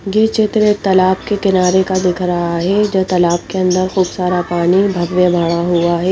गीच उतरे तालाब के किनारे का दिख रहा है जो तालाब के अंदर खूब सारा पानी भरने वाला हुआ है--